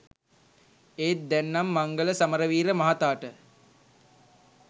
ඒත් දැන් නම් මංගල සමරවීර මහතාට